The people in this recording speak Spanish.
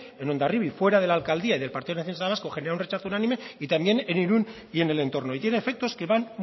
en hondarribia fuera de la alcaldía y del partido nacionalista vasco genera un rechazo unánime y también en irún y en el entorno y tiene efectos que van